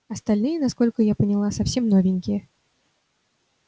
остальные насколько я поняла совсем новенькие